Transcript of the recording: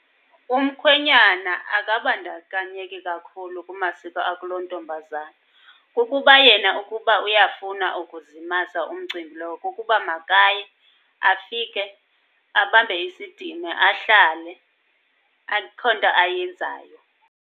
Umkhwenyana akabandakanyeki kakhulu kumasiko akulontombazana. Ukuba yena ukuba uyafuna ukuzimasa umcimbi lowo, kukuba makaye afike abambe isidima ahlale, akho nto ayenzayo.